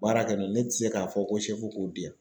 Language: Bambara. Baara kɛ n'o ye ne tɛ se k'a fɔ ko k'o di yan.